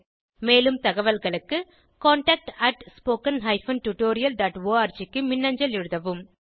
மேலும் தகவல்களுக்கு contactspoken tutorialorg க்கு மின்னஞ்சல் எழுதவும்